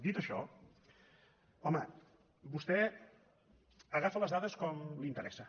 dit això home vostè agafa les dades com li interessa